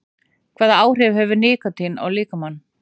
Hvaða áhrif hefur nikótín á líkamann?